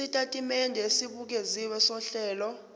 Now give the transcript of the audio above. isitatimende esibukeziwe sohlelo